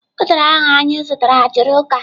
Udara ahụ anyị zụtara juru uka.